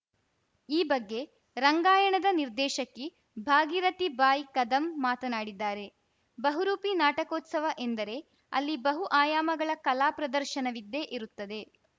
ಈ ಬಗ್ಗೆ ರಂಗಾಯಣದ ನಿರ್ದೇಶಕಿ ಭಾಗಿರಥಿ ಬಾಯ್‌ ಕದಂ ಮಾತನಾಡಿದ್ದಾರೆ ಬಹುರೂಪಿ ನಾಟಕೋತ್ಸವ ಎಂದರೆ ಅಲ್ಲಿ ಬಹು ಆಯಾಮಗಳ ಕಲಾ ಪ್ರದರ್ಶನವಿದ್ದೇ ಇರುತ್ತದೆ